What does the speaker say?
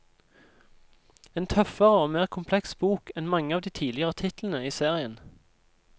En tøffere og mer kompleks bok enn mange av de tidligere titlene i serien.